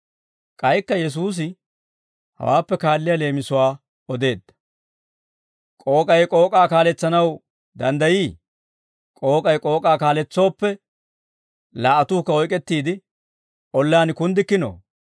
K'aykka Yesuusi hawaappe kaalliyaa leemisuwaa odeedda; «K'ook'ay k'ook'aa kaaletsanaw danddayii? K'ook'ay k'ook'aa kaaletsooppe laa"atuukka oyk'ettiide ollaan kunddikkinoo?